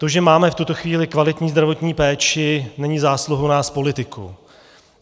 To, že máme v tuto chvíli kvalitní zdravotní péči není zásluhou nás politiků.